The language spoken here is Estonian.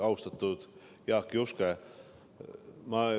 Austatud Jaak Juske!